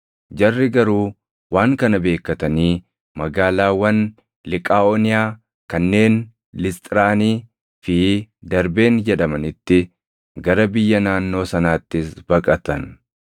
Jarri garuu waan kana beekkatanii magaalaawwan Liqaaʼooniyaa kanneen Lisxiraanii fi Darbeen jedhamanitti, gara biyya naannoo sanaattis baqatan.